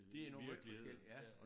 De er nu måj forskellige ja